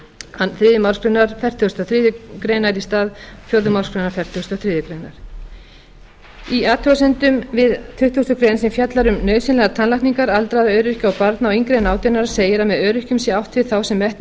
til þriðju málsgrein fertugustu og þriðju grein í stað fjórðu málsgrein fertugustu og þriðju grein í athugasemdum við tuttugustu greinar sem fjallar um nauðsynlegar tannlækningar aldraðra öryrkja og barna yngri en átján ára segir að með öryrkjum sé átt við þá sem metnir hafa